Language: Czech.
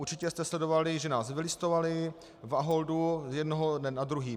Určitě jste sledovali, že nás vylistovali v Aholdu z jednoho dne na druhý.